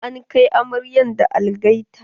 An kai amaryar da algaita.